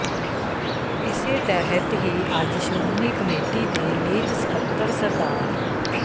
ਇਸੇ ਤਹਿਤ ਹੀ ਅੱਜ ਸ਼੍ਰੋਮਣੀ ਕਮੇਟੀ ਦੇ ਮੀਤ ਸਕੱਤਰ ਸ